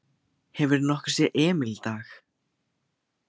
Hefurðu nokkuð séð Emil í dag?